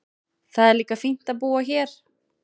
Það er líka fínt að búa hér.